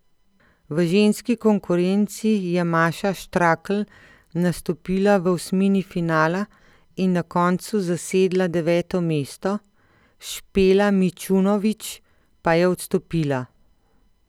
V ženski konkurenci je Maša Štrakl nastopila v osmini finala in na koncu zasedla deveto mesto, Špela Mičunovič pa je odstopila.